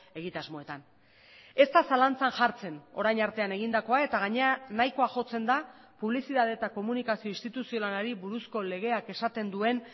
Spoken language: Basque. egitasmoetan ez da zalantzan jartzen orain artean egindakoa eta gainera nahikoa jotzen da publizitate eta komunikazio instituzionalari buruzko legeak esaten duen